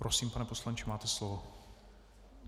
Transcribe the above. Prosím, pane poslanče, máte slovo.